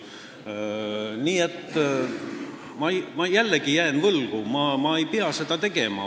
Nii et ma jään jällegi vastuse võlgu, ma ei pea seda ütlema.